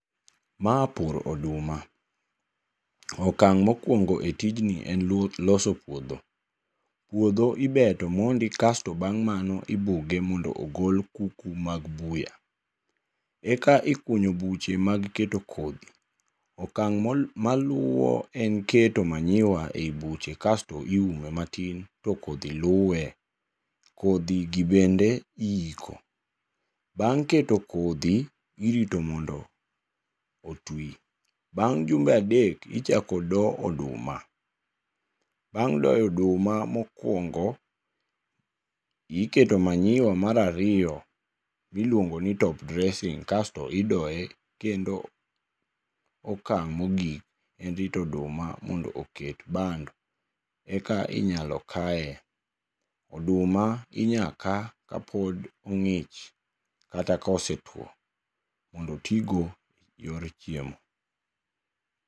Ma pur oduma. Okang' mokuongo e tijni en loso puodho, puodho ibeto mondi kaeto bang'e ibuge mondo ogol kuku mag buya, eka ikuyo buche mag keto kodhi. Okang maluwo en keto manyiwa ei buche kaeto kodhi luwe, to kodhi gi bende iiko. Bang' keto kodhi, irite mondo otwi. Bang' jumbe adek ichako do oduma. Bang' doyo oduma mokuongo, iketo manyiwa mar ariyo miluongo ni top dressing kasto idoye kendo. Okang' mogik en rito oduma mondo oket bando, eka inyalo kaye. Oduma inyalo ka kapod ong'ich kata ka osetuo mondo ti go eyor chiemo.